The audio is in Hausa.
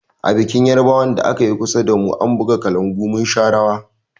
A bikin yarbawan da akayi kusa damu, an buga kalangu mun sha rawa.